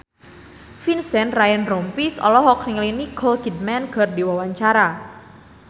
Vincent Ryan Rompies olohok ningali Nicole Kidman keur diwawancara